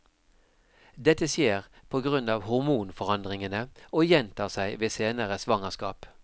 Dette skjer på grunn av hormonforandringene, og gjentar seg ved senere svangerskap.